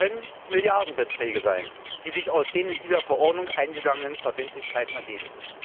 Es können Milliardenbeträge sein, die sich aus den in dieser Verordnung eingegangenen Verbindlichkeiten ergeben.